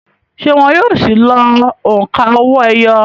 ṣé wọn yóò si lo òǹkà owó-ẹyọ?